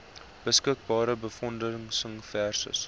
beskikbare befondsing versus